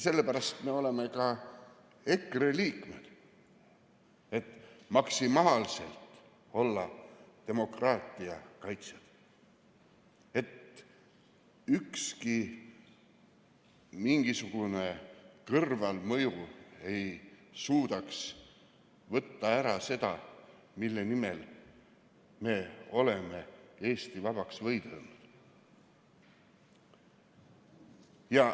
Sellepärast me oleme ka EKRE liikmed, et maksimaalselt olla demokraatia kaitsjad, et mitte ükski mingisugune kõrvalmõju ei suudaks võtta ära seda, mille nimel me oleme Eesti vabaks võidelnud.